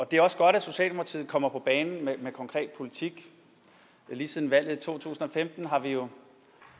det er også godt at socialdemokratiet kommer på banen med en konkret politik lige siden valget i to tusind og femten har vi jo